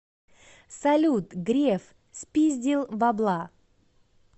салют греф спиздил бабла